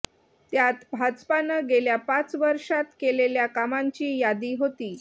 त्यात भाजपानं गेल्या पाच वर्षांत केलेल्या कामांची यादी होती